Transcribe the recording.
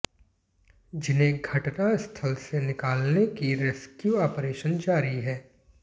जिन्हें घटनास्थल से निकालने की रेस्क्यू ऑपरेशन जारी है